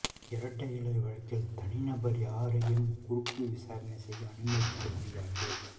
இரட்டை இலை வழக்கில் தனிநபர் யாரையும் குறுக்கு விசாரணை செய்ய அனுமதிக்க முடியாது